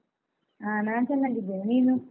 ಹಾ ನಾನ್ ಚೆನ್ನಾಗಿದ್ದೇನೆ, ನೀನು?